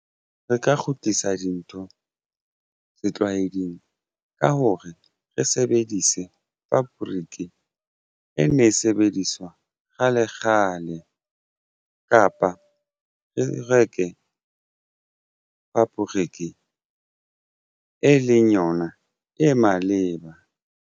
Re ka kgutlisa dintho setlwaeding ka hore re sebedise fabric e ne e sebediswa kgale kgale ole kapa re reke fabriki e leng yona e maleba.